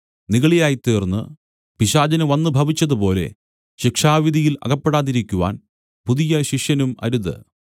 നിഗളിയായി തീർന്ന് പിശാചിന് വന്നുഭവിച്ചതുപോലെ ശിക്ഷാവിധിയിൽ അകപ്പെടാതിരിക്കുവാൻ പുതിയ ശിഷ്യനും അരുത്